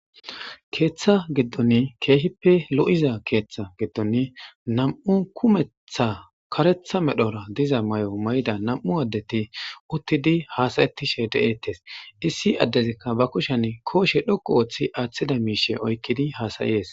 Keeththa giddon keehippe lo'iza keeththa giddon nam"u kumeththa karethth medhora diza mayo mayida nam'u adetii uttidii hassayettishe deyetes issi addezikka ba kushshen kushe dhoqqu Ooththidi aathoza miishshe oykidii hssayes